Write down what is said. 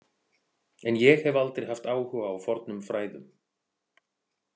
En ég hef aldrei haft áhuga á fornum fræðum.